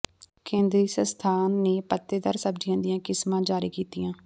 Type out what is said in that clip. ਕੇਂਦਰੀ ਸੰਸਥਾਨ ਨੇ ਪੱਤੇਦਾਰ ਸਬਜ਼ੀਆਂ ਦੀਆਂ ਕਿਸਮਾਂ ਜਾਰੀ ਕੀਤੀਆਂ